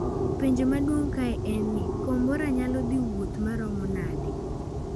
Penj maduong kae en ni kombora ni nyalo dhii wuoth maromo nade?